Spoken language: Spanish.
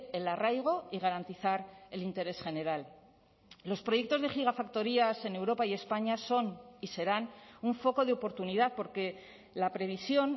el arraigo y garantizar el interés general los proyectos de gigafactorías en europa y españa son y serán un foco de oportunidad porque la previsión